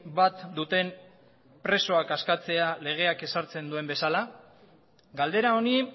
bat duten presoak askatzea legeak ezartzen duen bezala galdera honi